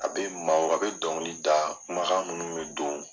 A bɛ maaw a bɛ dɔnkili da kumakan minnu bɛ don